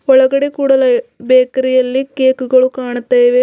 ಒಳಗಡೆ ಕೂಡಲೇ ಬೇಕರಿ ಯಲ್ಲಿ ಕೇಕು ಗಳು ಕಾಣುತ್ತಾ ಇವೆ ಮತ್--